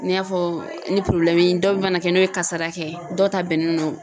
N y'a fɔ ni dɔ mana kɛ n'o ye kasara kɛ dɔw ta bɛnnen don